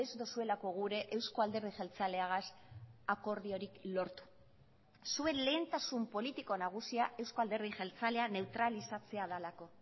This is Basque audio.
duzuelako gure euzko alderdi jeltzaleagaz akordiorik lortu zuen lehentasun politiko nagusia euzko alderdi jeltzalea neutralizatzea delako